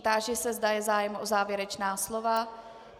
Táži se, zda je zájem o závěrečná slova.